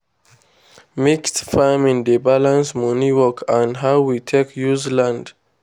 mixed farming dey balance money work and how we take use land.